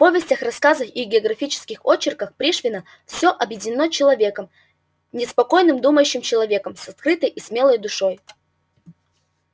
в повестях рассказах и географических очерках пришвина все объединено человеком неспокойным думающим человеком с открытой и смелой душой